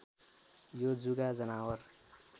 यो जुका जनावर